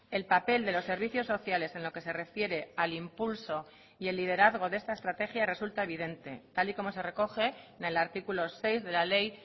el papel de los servicios sociales en lo que se refiere al impulso y el liderazgo de esta estrategia resulta evidente tal y como se recoge en el artículo seis de la ley